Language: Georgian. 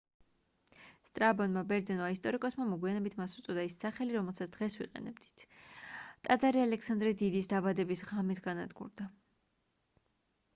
სტრაბონმა ბერძენმა ისტორიკოსმა მოგვიანებით მას უწოდა ის სახელი რომელსაც დღეს ვიყენებთ ტაძარი ალექსანდრე დიდის დაბადების ღამეს განადგურდა